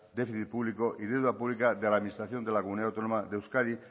déficit público y deuda pública de la administración de la comunidad autónoma de euskadi